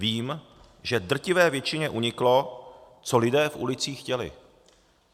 Vím, že drtivé většině uniklo, co lidé v ulicích chtěli.